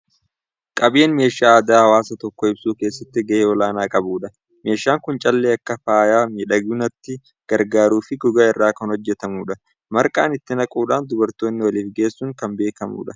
Qabeen meeshaa aadaa hawaasa tokkoo ibsuu keessatti gahee olaanaa qabudha. Meeshaan kun callee akka faaya miidhagunaatti gargaaruu fi gogaa irraa kan hojjetamudha. Marqaa itti naquudhaan dubartoonni waliif geessuun kan beekamanidha.